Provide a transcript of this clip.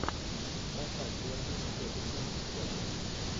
поставь дерби тоттенхэм и челси